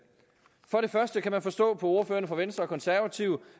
for det første kan man forstå på ordførerne fra venstre konservative